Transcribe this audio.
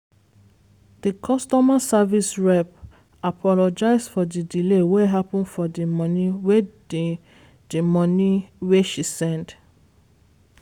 di customer service rep. apologize for di delay wey happen for di money wey di money wey she send